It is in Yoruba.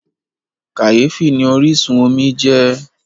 Kàyéfì ni orísun omi jẹ́.